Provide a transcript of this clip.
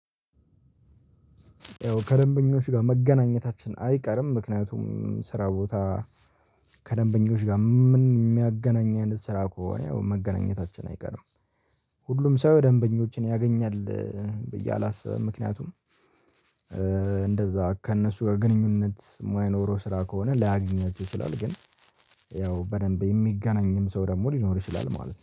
ያው ከደንበኞች ጋር መገናኘታችን አይቀርም ምክንያቱም ስራ ቦታ ከደንበኞች ጋር ምን የሚያገናኝ አይነት ስራ ከሆነ ያው መገናኘታችን አይቀርም። ሁሉም ሰው ደንበኞችን ያገኛል ብዬ አላስብም። ምክንያቱም እንደዛ ከእነሱ ግንኙነት እማይኖረው ስራ ከሆነ ላያገኘው ይችላል። ግን ያው በደንብ የሚገናኝም ሰው ደግሞ ሊኖር ይችላል ማለት ነው